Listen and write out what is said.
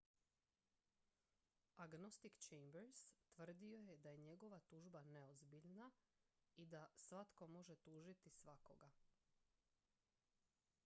"agnostik chambers tvrdio je da je njegova tužba "neozbiljna" i da "svatko može tužiti svakoga"".